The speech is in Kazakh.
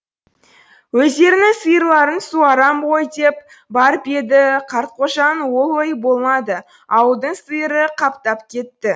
өздерінің сиырларын суарам ғой деп барып еді қартқожаның ол ойы болмады ауылдың сиыры қаптап кетті